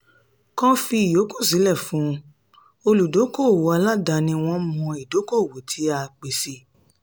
kán fi ìyókù sílẹ̀ fún olùdókoòwò aládaáni wọ́n mọ̀ ìdókoòwò tí a pèsè.